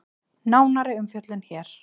Nánari umfjöllun hér